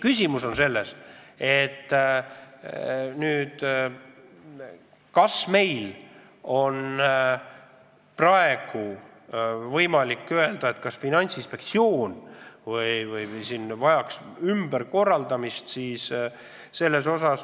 Küsimus on selles, kas Finantsinspektsioon vajab ümberkorraldamist.